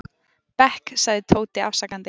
bekk, sagði Tóti afsakandi.